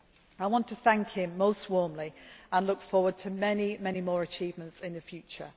I want to thank him most warmly and look forward to many more achievements in the future.